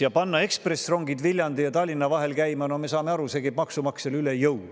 Ja panna ekspressrongid Viljandi ja Tallinna vahel käima – no me saame aru, et see käib maksumaksjale üle jõu.